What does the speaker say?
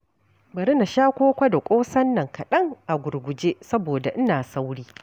Bari na sha koko da ƙosan nan kaɗan a gurguje saboda ina sauri.